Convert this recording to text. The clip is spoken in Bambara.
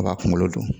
A b'a kunkolo don